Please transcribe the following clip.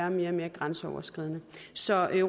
og mere grænseoverskridende så